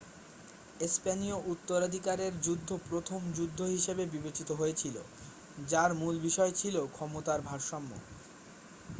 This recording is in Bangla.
স্পেনীয় উত্তরাধিকারের যুদ্ধ প্রথম যুদ্ধ হিসাবে বিবেচিত হয়েছিল যার মূল বিষয় ছিল ক্ষমতার ভারসাম্য